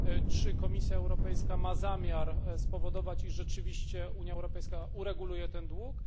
Czy Komisja Europejska ma zamiar spowodować, iż rzeczywiście Unia Europejska ureguluje ten dług?